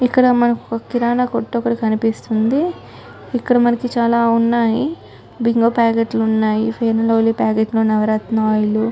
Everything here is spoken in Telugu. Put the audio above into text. ఇక్కడ మానికి ఒక కిరానా కొట్టు ఒకటీ కనిపిస్తుంది. ఇక్కడ మనకు చాల ఉన్నాయ్.బింగో ప్యాకెట్లు ఉన్నాయ్.ఫెయిరీ న్ లవ్లీ ప్యాకెట్లు నవరత్న ఆయిల్ లు--